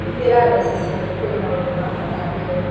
Hũthĩra mbeca ciaku kũrĩ maũndu ma bata mbere.